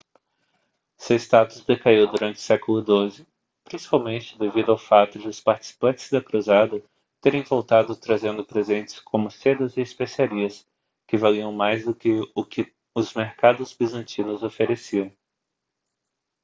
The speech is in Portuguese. seu status decaiu durante o século xii principalmente devido ao fato de os participantes da cruzada terem voltado trazendo presentes como sedas e especiarias que valiam mais do que o que os mercados bizantinos ofereciam